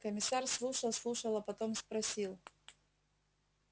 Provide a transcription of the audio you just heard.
комиссар слушал слушал а потом спросил